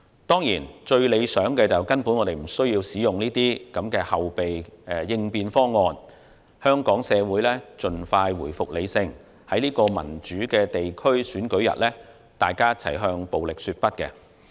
當然，最理想的是根本不需要使用這些後備應變方案，香港社會盡快回復理性，大家一起在這個民主的地區選舉日向暴力說不。